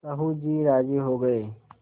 साहु जी राजी हो गये